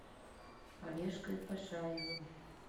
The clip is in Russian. олежкой пашаевым